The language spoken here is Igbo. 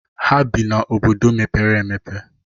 Ha bii na obodo mepere emepe.